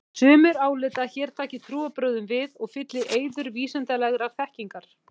Sumir álíta að hér taki trúarbrögðin við og fylli í eyður vísindalegrar þekkingar.